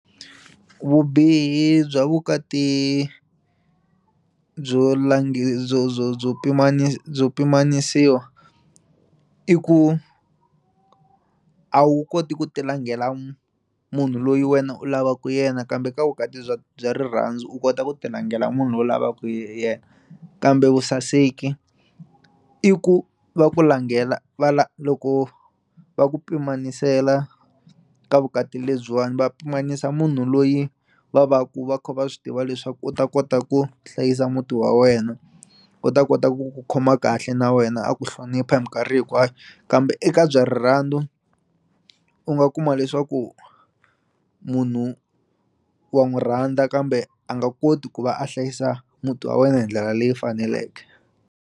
Vubihi bya vukati byo lange byo byo byo byo pimanisiwa i ku a wu koti ku ti langela munhu loyi wena u lavaku yena kambe ka vukati bya bya rirhandzu u kota ku ti langela munhu u lavaka yena kambe vusaseki i ku va ku langela va la loko va ku pimanisela ka vukati lebyiwani va pimanisa munhu loyi va va ku va kha va swi tiva leswaku u ta kota ku hlayisa muti wa wena u ta kota ku ku khoma kahle na wena a ku hlonipha hi mikarhi hinkwayo kambe eka bya rirhandzu u nga kuma leswaku munhu wa n'wi rhandza kambe a nga koti ku va a hlayisa muti wa wena hi ndlela leyi faneleke.